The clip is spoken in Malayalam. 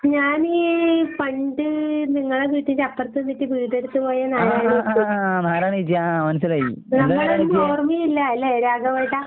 ഞാന് പണ്ട് നിങ്ങളെ വീട്ടിന്റപ്പറത്തെ വീട്ടീ വീടെടുത്ത് പോയ നാരായണിയേച്ചി. നമ്മളെയൊന്നും ഓർമ്മയില്ലാല്ലേ രാഘവേട്ടാ.